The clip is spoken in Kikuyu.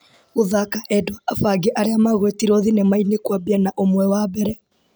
Gũthaka endwa abange arĩa magwetirwo thinema-inĩ kũambia na ũmwe wa mbere.